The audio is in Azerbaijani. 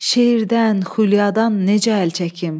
şeirdən, xülyadan necə əl çəkim?